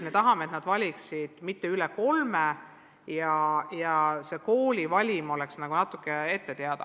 Me tahame, et nad valiksid kõige rohkem kolm ja kooli valik oleks natuke ette teada.